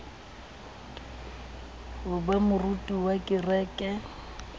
ho ba moruti wa kereke